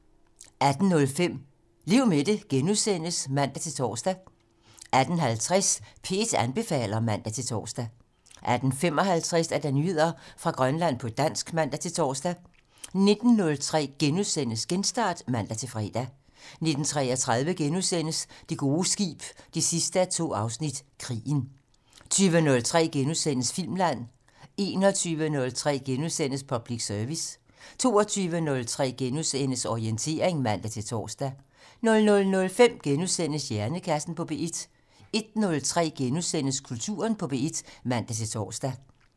18:05: Lev med det *(man-tor) 18:50: P1 anbefaler (man-tor) 18:55: Nyheder fra Grønland på dansk (man-tor) 19:03: Genstart *(man-fre) 19:33: Det gode skib 2:2 - Krigen * 20:03: Filmland * 21:03: Public Service * 22:03: Orientering *(man-tor) 00:05: Hjernekassen på P1 * 01:03: Kulturen på P1 *(man-tor)